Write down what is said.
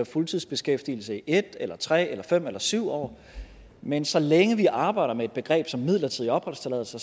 fuldtidsbeskæftigelse i en eller tre eller fem eller syv år men så længe vi arbejder med et begreb som midlertidig opholdstilladelse